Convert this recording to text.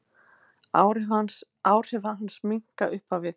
Áhrif hans minnka upp á við.